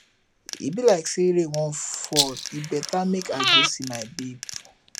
e be like say rain wan fall e better make i go see my babe